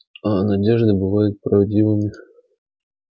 а надежды бывают правдивыми